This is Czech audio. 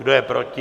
Kdo je proti?